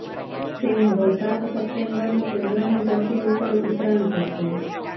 તે હવે સાત સપ્ટેમ્બરે ચન્દ્રની ધરતી ઉપર ઉતરાણ કરશે